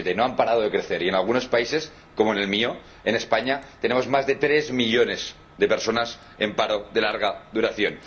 2007. No han parado de crecer y, en algunos países —como en el mío, en España— tenemos más de tres millones de personas en paro de larga duración.